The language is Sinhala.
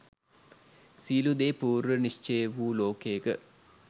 සියළු දේ පූර්ව නිශ්චය වූ ලෝකයක.